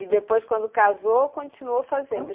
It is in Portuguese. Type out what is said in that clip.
E depois, quando casou, continuou fazendo?